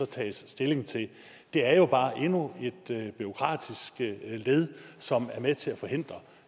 taget stilling til det det er jo bare endnu et bureaukratisk led som er med til at forhindre